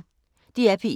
DR P1